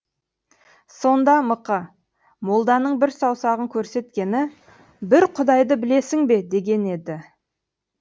сонда мықы молданың бір саусағын көрсеткені бір құдайды білесің бе дегені еді